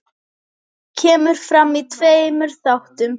Kemur fram í tveimur þáttum.